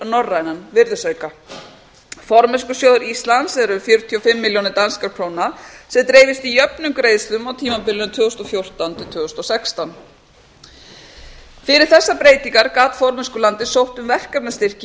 norræna virðisauka formennskusjóður íslands er fjörutíu og fimm milljónir danskra króna sem dreifist í jöfnum greiðslum á tímabilinu tvö þúsund og fjórtán til tvö þúsund og sextán fyrir þessar breytingar gat formennskulandið sótt um verkefnastyrki í